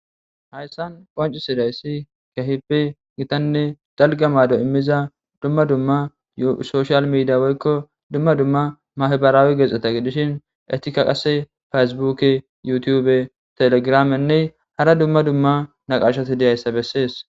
hayssan qonci sidayssi kehipe gitanne dalga mado immiza dumma dumma soshal midia woykko dumma dumma mahbarawe gexxeta gidishin etika qase fasibuke yu tube telegramenne hara dumma dumma naqashati deyayssa bessees